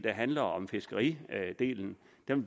handler om fiskeridelen vil